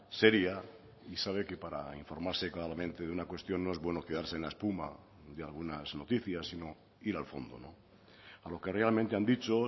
seria y sabe que para informarse claramente de una cuestión no es bueno quedarse en la espuma de algunas noticias sino ir al fondo a lo que realmente han dicho